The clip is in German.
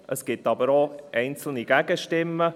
Es gibt aber auch einzelne Gegenstimmen.